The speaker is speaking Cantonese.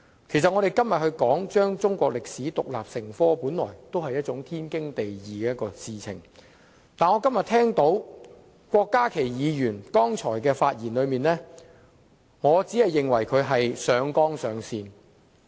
其實，我們今天討論將中國歷史科獨立成科，本來就是天經地義的事情，但聽了郭家麒議員剛才的發言，我認為他只是上綱上線。